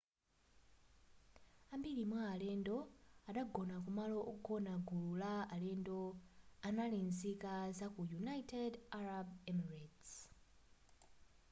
ambiri mwa alendo anagona kumalo ogona gulu la alendo anali nzika zaku united arab emirates